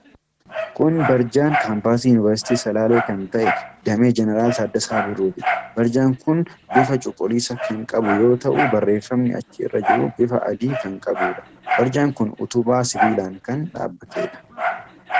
Kun barjaan kaampaasii yunivarsiitii salaalee kan ta'e, damee Jeneraal Taaddasaa Birruuti. Barjaan kun bifa cuquliisa kan qabu yoo ta'u, barreeffamni achi irra jiru bifa adii kan qabuudha. Barjaan kun utubaa sibiilaan kan dhaabbateedha.